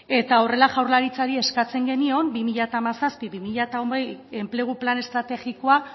eta horrela jaurlaritzari eskatzen genion bi mila hamazazpi bi mila hogei enplegu plan estrategikoa